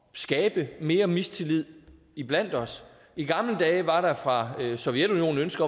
skabe mere mistillid iblandt os i gamle dage var der fra sovjetunionens